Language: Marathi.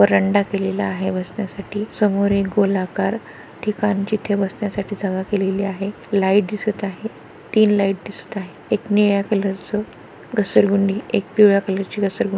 वरांडा केलेला आहे बसण्यासाठी समोर एक गोलाकार ठिकाण जिथे बसण्यासाठी जागा केलेली आहे लाइट दिसत आहे तीन लाइट दिसत आहे एक निळ्या कलरच घसरगुंडी एक पिवळे कलर ची घसरगुंडी.